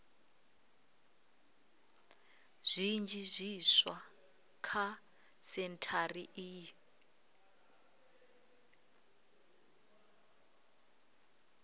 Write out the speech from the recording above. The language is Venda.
zwinzhi zwiswa kha sentshari iyi